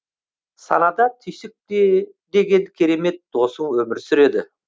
санада түйсік деген керемет досың өмір сүреді